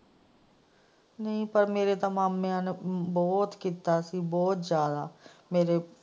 ਨਹੀਂ ਪਰ ਮੇਰੇ ਤੇ ਮਾਮਿਆਂ ਨੇ ਬਹੁਤ ਕੀਤਾ ਸੀ ਬਹੁਤ ਜ਼ਿਆਦਾ ਮੇਰੇ।